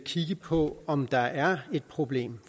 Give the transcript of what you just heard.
kigge på om der er et problem